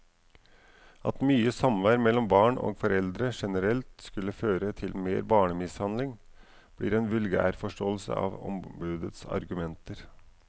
At mye samvær mellom barn og foreldre generelt skulle føre til mer barnemishandling, blir en vulgærforståelse av ombudets argumenter.